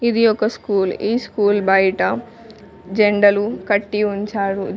ఇది ఒక స్కూల్ ఈ స్కూల్ బయట జెండాలు కట్టి ఉంచాడు.